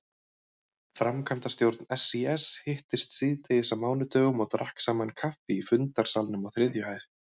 Framkvæmdastjórn SÍS hittist síðdegis á mánudögum og drakk saman kaffi í fundarsalnum á þriðju hæð.